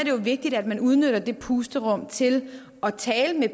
jo vigtigt at man udnytter det pusterum til at tale